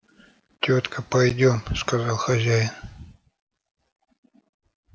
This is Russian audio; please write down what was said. тётка пойдём сказал хозяин